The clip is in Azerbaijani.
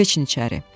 Keçin içəri.